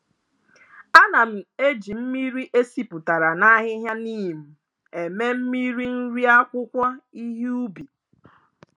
Ana m eji mmiri e sipụtara n'ahihia neem eme mmịrị nri akwụkwọ ihe ubi.